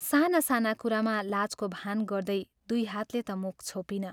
साना साना कुरामा लाजको भान गर्दै दुइ हातले ता मुख छोपिन।